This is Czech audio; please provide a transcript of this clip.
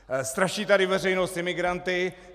Straší tady veřejnost imigranty.